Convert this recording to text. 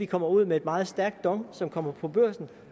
kommer ud med et meget stærkt dong som kommer på børsen